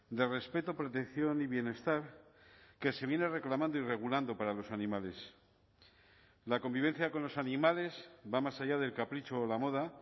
de respeto protección y bienestar que se viene reclamando y regulando para los animales la convivencia con los animales va más allá del capricho o la moda